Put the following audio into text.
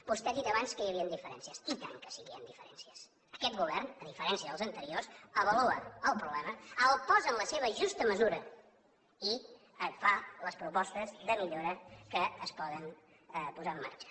vostè ha dit abans que hi havia diferències i tant que sí que hi han diferències aquest govern a diferència dels anteriors avalua el problema el posa en la seva justa mesura i et fa les propostes de millora que es poden posar en marxa